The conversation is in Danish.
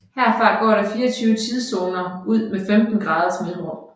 Herfra går der 24 tidszoner ud med 15 graders mellemrum